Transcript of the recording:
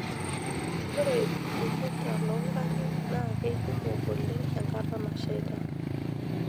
Ore ilbuketa loongarin naa keikumok oleng enkata nasheita.